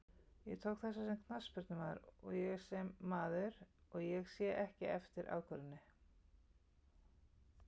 Ég tók þessa sem knattspyrnumaður og sem maður, og ég sé ekki eftir ákvörðuninni.